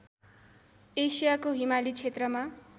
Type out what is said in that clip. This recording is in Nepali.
एसियाको हिमाली क्षेत्रमा